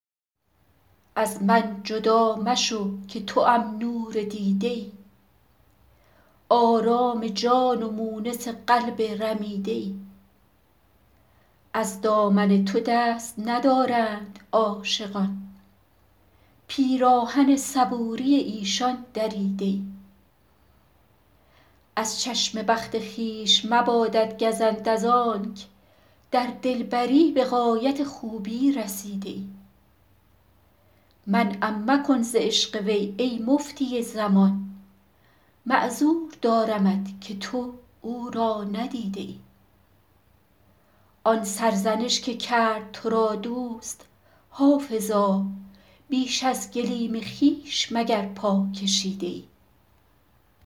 از من جدا مشو که توام نور دیده ای آرام جان و مونس قلب رمیده ای از دامن تو دست ندارند عاشقان پیراهن صبوری ایشان دریده ای از چشم بخت خویش مبادت گزند از آنک در دلبری به غایت خوبی رسیده ای منعم مکن ز عشق وی ای مفتی زمان معذور دارمت که تو او را ندیده ای آن سرزنش که کرد تو را دوست حافظا بیش از گلیم خویش مگر پا کشیده ای